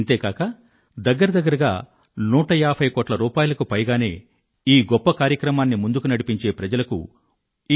ఈ గొప్ప కార్యక్రమాన్ని ముందుకు నడిపించే ప్రజలకు బహుమతి రూపంలో ఇంచుమించు నూట ఏభై కోట్ల రూపాయిలకు పైగానే లభించింది